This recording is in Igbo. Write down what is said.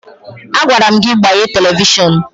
Agwara m gị gbaghee televishọn!